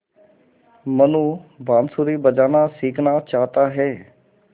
मनु बाँसुरी बजाना सीखना चाहता है